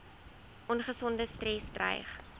ongesonde stres dreig